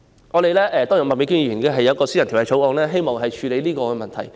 麥美娟議員也提出了一項私人條例草案，希望處理這個問題。